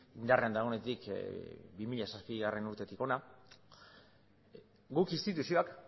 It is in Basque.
indarrean dagoenetik bi mila zazpigarrena urtetik hona guk instituzioak